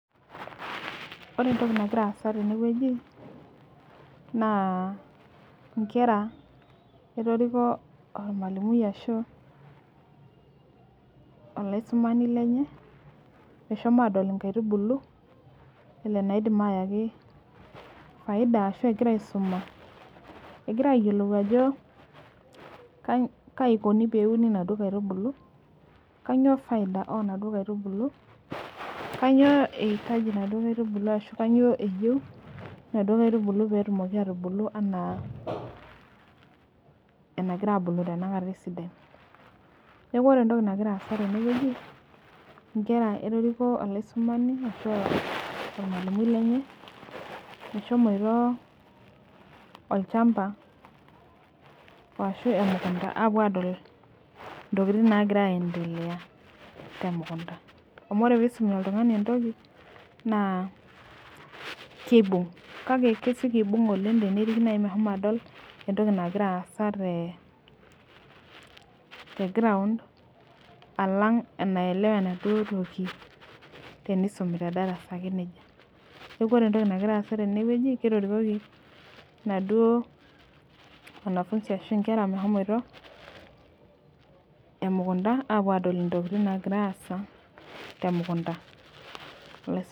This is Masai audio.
Ore entoki nagira aasa tenewueji na nkera etoriko ormalimui meshomo atadol nkaitubulu eniko pelo ayaki faida enkisuma egira ayiolou ajo kaiko peuni naduo aitubulu kanyio faida okuna aitubulu kanyioe eyieu naduo aitubulu petumoki atubulu ana enagira abuku tanakata esidia neaku ore entoki nagira aasa tene na nkera etoriko olaisumani ashu ormalimui lenye meshomoitoolchamba ashu emukunda apuo adol ntokitin nagira aendelea temukunda na kibung kake kesieki aibung oleng teneriki meshomo adol entoki nagira aasa teground alang enielwa enaduo toki tenisumi tedarasa ake nejianeaku ore entoki nagira aasa tenewueji ketorikoki naduo kera meshomoita emukunda apuo adol ntokitin nagira aasa temukunda .